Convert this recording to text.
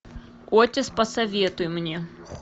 отис посоветуй мне